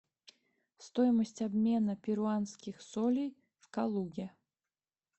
стоимость обмена перуанских солей в калуге